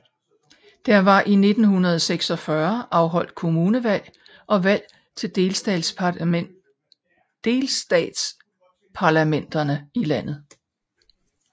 Der var i 1946 afholdt kommunalvalg og valg til delstatsparlamenterne i landet